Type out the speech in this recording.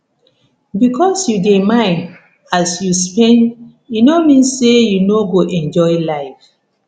bikos yu dey mind as you spend e no mean say yu no go enjoy life